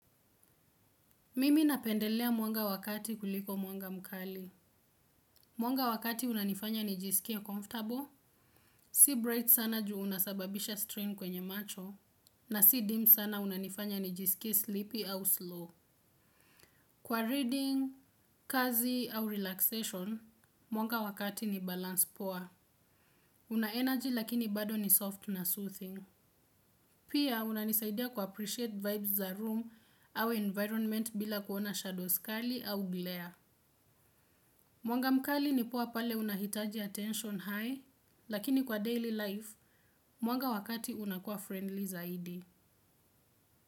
Mimi napendelea mwanga wa kati kuliko mwanga mkali. Mwanga wa kati unanifanya nijisikie comfortable. Si bright sana juu unasababisha strain kwenye macho. Na si dim sana unanifanya nijisikia sleepy au slow. Kwa reading, kazi au relaxation, mwanga wa kati ni balance poa. Una energy lakini bado ni soft na soothing. Pia unanisaidia kuappreciate vibes za room au environment bila kuona shadows kali au glare. Mwanga mkali ni poa pale unahitaji attention high, lakini kwa daily life, mwanga wa kati unakuwa friendly zaidi.